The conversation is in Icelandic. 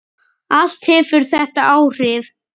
Allt hefur þetta áhrif.